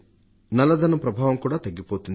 నల్ల ధనం ప్రభావం తగ్గిపోతుంది